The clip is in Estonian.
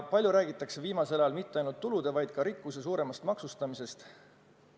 Palju räägitakse viimasel ajal mitte ainult tulude, vaid ka rikkuse suuremast maksustamisest.